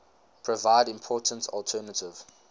provide important alternative